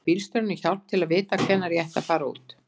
Biðja bílstjórann um hjálp til að vita hvenær ég ætti að fara út.